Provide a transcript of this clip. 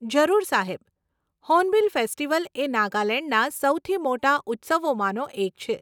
જરૂર સાહેબ, hornbill festival એ નાગાલેંડના સૌથી મોટા ઉત્સવોમાંનો એક છે.